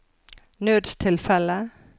nødstilfelle